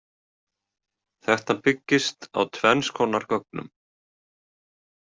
Þetta byggist á tvenns konar gögnum.